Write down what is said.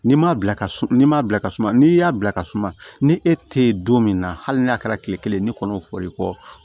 N'i m'a bila ka suma n'i m'a bila ka suma n'i y'a bila ka suma ni e tɛ yen don min na hali n'a kɛra kile kelen ne kɔnɔ fɔ i kɔ